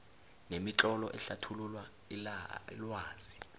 nemitlolo ehlathulula ilwazi